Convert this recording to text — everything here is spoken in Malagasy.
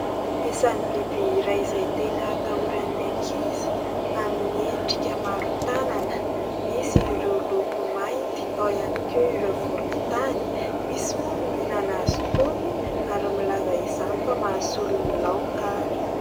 Isany biby iray izay tena atahoran'ny ankizy, amin'ny endrika maro tanana, misy ireo loko mainty, ao ihany koa ireo volontany. Misy moa ny mihinana azy itony ary milaza izany fa mahasolo ny laoka ary.